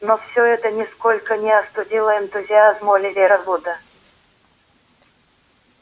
но всё это нисколько не остудило энтузиазм оливера вуда